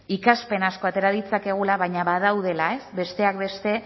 ikaspen asko atera ditzakegula baina badaudela besteak beste